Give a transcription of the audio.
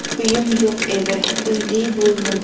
Uyim yo‘q edi, uyli bo‘ldim.